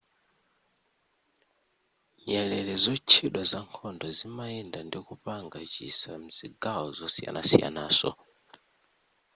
nyerere zotchedwa zankhondo zimayenda ndikupanga chisa mzigawo zoyisanasiyanaso